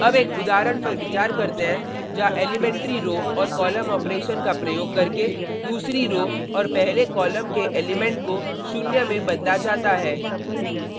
अब एक उदाहरण पर विचार करते हैं जहाँ एलीमेंट्री रो और कॉलम ऑपरेशन का प्रयोग करके दूसरी रो और पहले कॉलम के एलिमेंट को शून्य में बदला जाता है